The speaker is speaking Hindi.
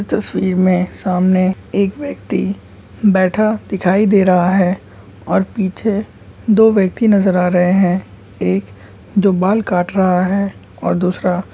तस्वीर में सामने एक व्यक्ति बैठा दिखाई दे रहा हैऔर पीछे दो व्यक्ति नजर आ रहे है एक जो बाल काट रहा हैऔर दूसरा --